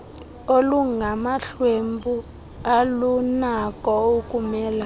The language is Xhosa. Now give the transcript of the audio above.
olungamahlwempu alunako ukumelane